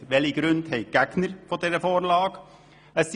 Welche Gründe führen die Gegner dieser Vorlage ins Feld?